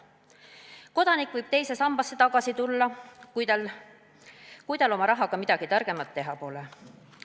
Kodanik võib teise sambasse tagasi tulla, kui tal oma rahaga midagi targemat teha pole.